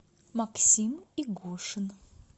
максим игошин